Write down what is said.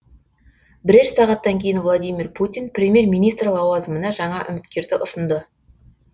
бірер сағаттан кейін владимир путин премьер министр лауазымына жаңа үміткерді ұсынды